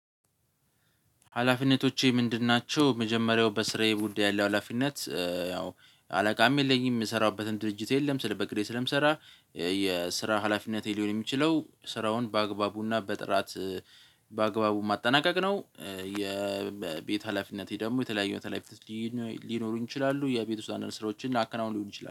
ሀላፊነቶቼ ምንድን ናቸው? መጀመሪያው በስራዬ ጉዳይ ያለው ሀላፊነት ያው አለቃም የለኝም የምሰራበትም ድርጅት የለም ስለ በቅዴ ስለምሰራ የስራ ሀላፊነቴ ሊሆን የሚችለው ስራውን በአግባቡና በጥራት በአግባቡ ማጠናቀቅ ነው። የቤት ሀላፊነቴ ደግሞ የተለያዩ ሀላፊነቶች ሊኖሩ ይችላሉ የቤት ውስጥ አንድ አንድ ስራዎችን አከናውን ሊሆን ይችላሉ